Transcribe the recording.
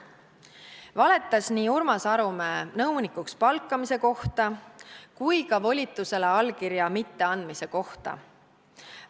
Ta valetas nii Urmas Arumäe nõunikuks palkamise kohta kui ka volitusele allkirja mitteandmise kohta.